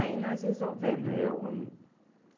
Aí nós resolvemos. Eu